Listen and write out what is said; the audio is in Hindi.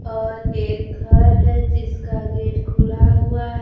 और एक घर है जिसका गेट खुला हुआ--